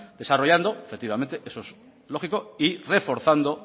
desarrollando efectivamente eso es lógico y reforzando